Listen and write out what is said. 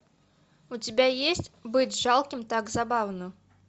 у тебя есть быть жалким так забавно